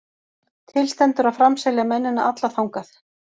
Til stendur að framselja mennina alla þangað.